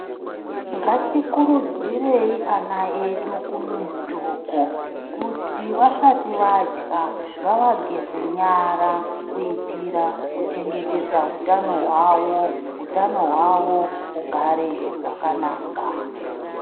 Ngatikurudzirei ana edu kumizi uko kuti vasati vadya ngavageze nyara kuitira kuchengetedza hutano hwavo hutano hwavo hugare hwakanaka.